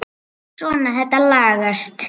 Svona, þetta lagast